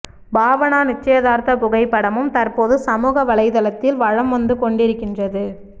பாவனா நிச்சய்தார்த்த புகைப்படமும் தற்போது சமூக வலைத்தளத்தில் வலம் வந்து கொண்டிருக்கின்றது